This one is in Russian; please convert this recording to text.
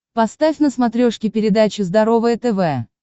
поставь на смотрешке передачу здоровое тв